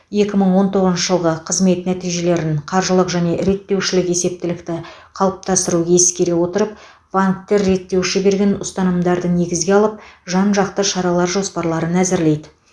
екі мың он тоғызыншы жылғы қызмет нәтижелерін қаржылық және реттеушілік есептілікті қалыптастыру ескере отырып банктер реттеуші берген ұсынымдарды негізге алып жан жақты шаралар жоспарларын әзірлейді